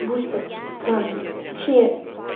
бустер странный точнее